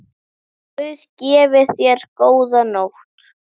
Guð gefi þér góða nótt.